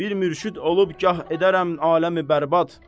Bir mürşid olub gah edərəm aləmi bərbad.